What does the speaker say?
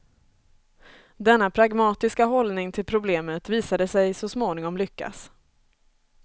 Denna pragmatiska hållning till problemet visade sig så småningom lyckas.